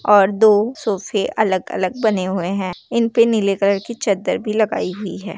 और दो सोफ़े अलग-अलग बने हुए है इनपे नीले कलर की चद्दर भी लगाई हुई है।